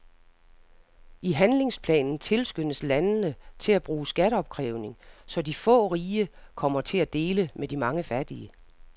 I handlingsplanen tilskyndes landene til at bruge skatteopkrævning, så de få rige kommer til at dele med de mange fattige.